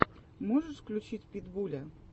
можешь включить питбуля